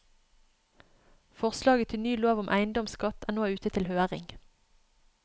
Forslaget til ny lov om eiendomsskatt er nå ute til høring.